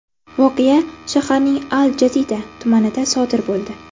Voqea shaharning al-Jadida tumanida sodir bo‘ldi.